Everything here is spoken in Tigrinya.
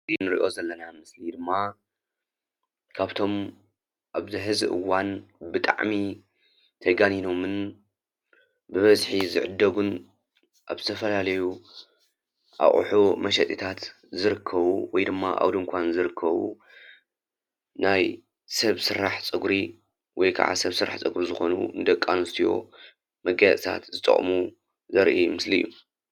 እዚ እንርእዮ ዘለና ምስለ ድማ ካብቶም ኣብዚ ሕዚ እዋን ብጣዕሚ ተጋኒኖምን ብበዝሒ ዝዕደጉን ኣብ ዝተፈላለዩ ኣቁሑ መሸጢታት ዝርከቡ ወይድማ ኣብ ድንኳን ዝርከቡ ናይ ሰብ ስራሕ ፀጉሪ ወይ ከዓ ሰብ ስራሕ ፀጉሪ ዝኮኑ ንደቂ ኣንሰትዮ መጋየፅቲታት ዝጠቅሙ ዘርኢ ምስሊ አዩ።